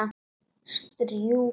Strjúka því.